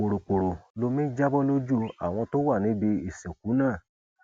pòròpórò lomi ń já bọ lójú àwọn tó wà níbi ìsìnkú náà